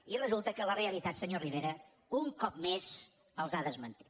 i resulta que la realitat senyor rivera un cop més els ha desmentit